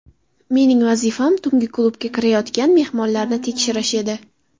Mening vazifam tungi klubga kirayotgan mehmonlarni tekshirish edi.